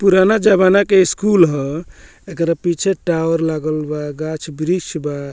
पुराण जवाना के स्कूल हअ एकर पीछे टावर लागल बा गाछ-बृक्ष बा।